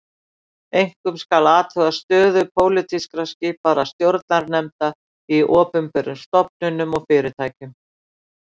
Einkum skal athuga stöðu pólitískt skipaðra stjórnarnefnda í opinberum stofnunum og fyrirtækjum